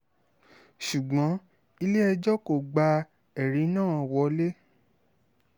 ṣùgbọ́n ilé-ẹjọ́ kò gba ẹ̀rí náà wọ́lẹ̀